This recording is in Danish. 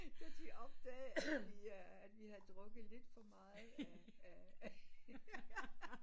Til de opdagede at vi øh havde drukket lidt for meget af af